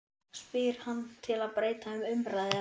spyr hann til að breyta um umræðuefni.